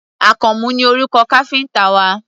Àkànmú ni orúkọ káfíńtà wa.